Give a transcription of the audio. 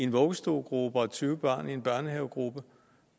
vuggestuegruppe og tyve børn i en børnehavegruppe